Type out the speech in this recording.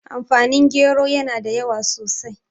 amfani gero yana da yawa sosai